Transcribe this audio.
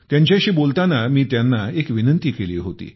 त्यांच्याशी बोलताना मी त्यांना एक विनंती केली होती